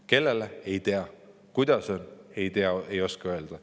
Kellele, ei tea, kuidas, ei oska öelda.